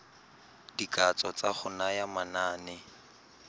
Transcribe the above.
dikatso tsa go naya manane